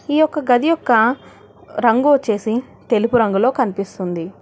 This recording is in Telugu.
ఈ ఒక గది యొక్క రంగు వచ్చేసి తెలుగు రంగులో కనిపిస్తుంది.